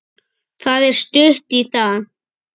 Það er stutt í það.